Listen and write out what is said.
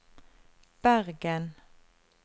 Bergen